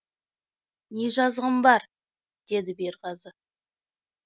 не жазығым бар деді берғазы